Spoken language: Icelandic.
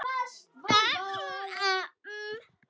Það seinna var mikil vá.